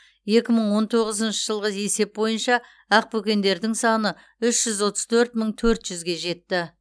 екі мың он тоғызыншы жылғы есеп бойынша ақбөкендердің саны үш жүз отыз төрт мың төрт жүзге жетті